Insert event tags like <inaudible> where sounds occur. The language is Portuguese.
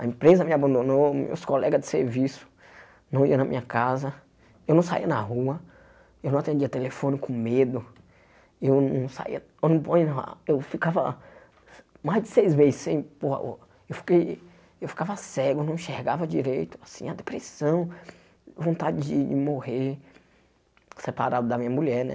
A empresa me abandonou, meus colegas de serviço não iam na minha casa, eu não saía na rua, eu não atendia telefone com medo, eu não saía, eu <unintelligible> ficava mais de seis <unintelligible> sem pôr o... eu ficava cego, não enxergava direito, assim, a depressão, vontade de morrer, separado da minha mulher, né?